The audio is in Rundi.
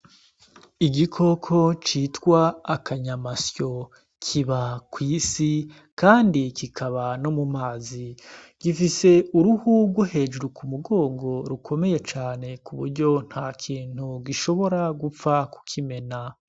Igikoko citwa akanyamasyo kiba kw'isi, kandi kikaba no mu mazi gifise uruhurwo hejuru ku mugongo rukomeye cane ku buryo nta kintu gishobora gupfa kukimena.